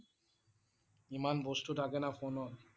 ইমান বস্তু থাকে না ফোনত